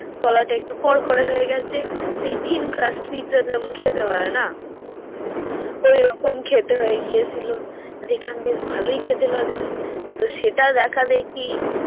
তলাটা একটু কড়কড়া হয়ে গেছে সেই thrune crust me pezza যেমন খেতে হয় না হু ওই রকম খেতে হয়ে গিয়েছিলো দেকলাম বেশভালোই লাগছে তো সেটা দেখা যাই কি